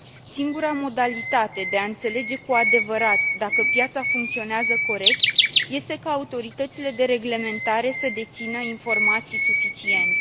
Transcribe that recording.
Singura modalitate de a înțelege cu adevărat dacă piața funcționează corect este ca autoritățile de reglementare să dețină informații suficiente.